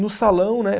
No salão, né?